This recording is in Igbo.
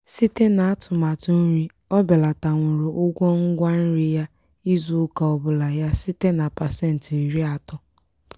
site n'atumatụ nri o belatanwuru ụgwọ ngwa nri ya izu ụka ọbụla ya site na pasenti iri atọ.